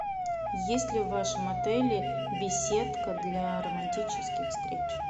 есть ли в вашем отеле беседка для романтических встреч